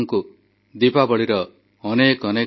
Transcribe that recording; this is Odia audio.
ଅକ୍ଟୋବର 31ରେ ଏକତା ଦୌଡ଼ରେ ସାମିଲ ହେବା ପାଇଁ ଦେଶବାସୀଙ୍କୁ ଆହ୍ୱାନ